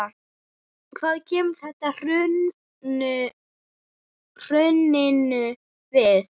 Hvað kemur þetta hruninu við?